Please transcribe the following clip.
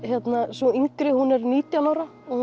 sú yngri hún er nítján ára og